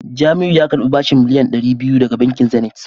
Jamiu ya karbi bashin miliyan dari biyu daga bankin Zenith